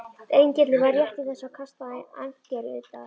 Engillinn var rétt í þessu að kasta ankeri utar.